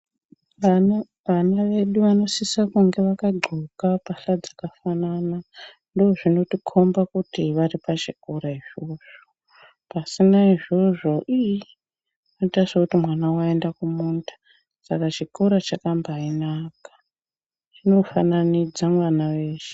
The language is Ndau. Vana vedu vanosise kunge vakadxoka mbahla dzakafanana ndozvinotikhomba kuti vari pachikora izvozvo. Pasina izvozvo iiii zvinoita sekuti mwana waenda kumunda saka chikora chakabaanaka chinofananidze mwana weshe.